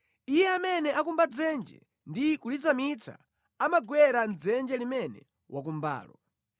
Iye amene akumba dzenje ndi kulizamitsa amagwera mʼdzenje limene wakumbalo.